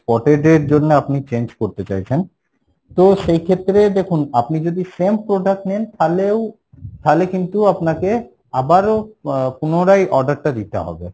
spotted এর জন্য আপনি change করতে চাইছেন, তো সেই ক্ষেত্রে দেখুন আপনি যদি same product নেন তাহলেও তাহলে কিন্তু আপনাকে আবারও আহ পুনরায় order টা দিতে হবে।